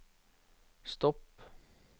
stopp